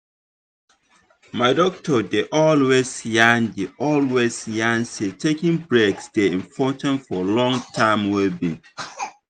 my doctor dey always yarn dey always yarn say taking breaks dey important for long term well being.